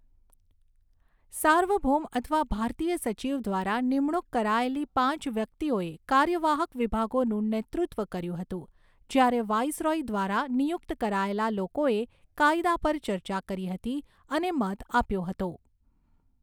સાર્વભૌમ અથવા ભારતીય સચિવ દ્વારા નિમણૂક કરાયેલી પાંચ વ્યક્તિઓએ કાર્યવાહક વિભાગોનું નેતૃત્વ કર્યું હતું, જ્યારે વાઈસરોય દ્વારા નિયુક્ત કરાયેલા લોકોએ કાયદા પર ચર્ચા કરી હતી અને મત આપ્યો હતો.